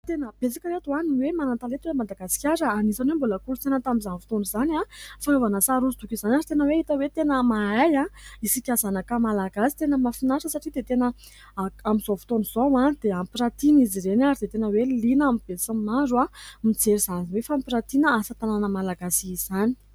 Tena betsaka ry reto ny hoe manantalenta eto Madagasikara ! Anisany hoe mbola kolotsaina tamin'izany fotoana izany ny fanaovana sary hosodoko izany ary tena hoe hita hoe mahay isika zanaka Malagasy, tena mahafinaritra satria dia tena amin'izao fotoana izao dia hampirantina izy ireny ary dia tena hoe liana ny be sy ny maro mijery izany hoe fampirantina asa-tanana malagasy izany.